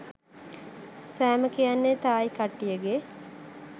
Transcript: සෑම කියන්නෙ තායි කට්ටියගෙ